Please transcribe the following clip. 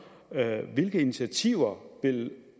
hvilke initiativer